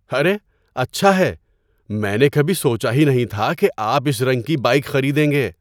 ارے، اچھا ہے! میں نے کبھی سوچا ہی نہیں تھا کہ آپ اس رنگ کی بائیک خریدیں گے۔